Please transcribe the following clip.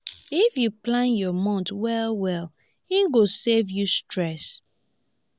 if yu plan yur month well well e go save you stress